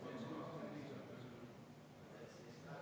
Juhtivkomisjoni seisukoht on jätta arvestamata.